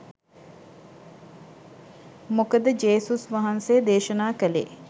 මොකද ජේසුස් වහන්සේ දේශනා කලේ